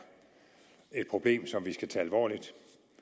et problem som vi skal tage alvorligt